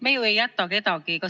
Me ju ei jäta kedagi abita.